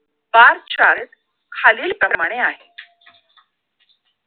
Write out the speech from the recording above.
barchat खालील परिमाणे आहे